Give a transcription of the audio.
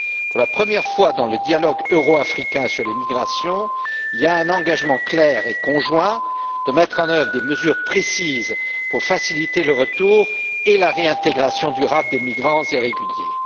Pour la première fois dans le dialogue euro africain sur les migrations, il y a un engagement clair et conjoint à mettre en œuvre des mesures précises pour faciliter le retour et la réintégration durables des migrants irréguliers.